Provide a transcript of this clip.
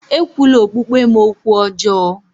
Ekwula okpukpe m okwu ọjọọ!